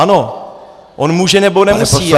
Ano, on může, nebo nemusí.